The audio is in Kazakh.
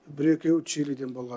бір екеуі чилиден болған